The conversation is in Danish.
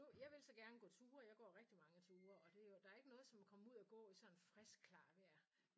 Nu jeg vil så gerne gå ture jeg går rigtig mange ture og det er jo der er jo ikke noget som at komme ud og gå i sådan noget frisk klart vejr